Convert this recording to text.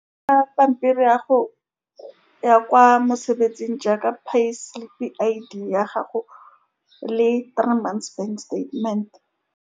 Ka pampiri ya go ya kwa mosebetsing jaaka pay slip-i I_D ya gago le three months statement-e.